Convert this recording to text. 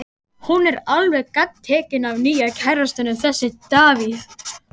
Hún er alveg gagntekin af nýja kærastanum, þessum Davíð.